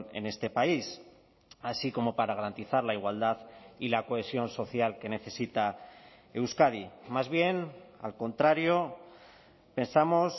en este país así como para garantizar la igualdad y la cohesión social que necesita euskadi más bien al contrario pensamos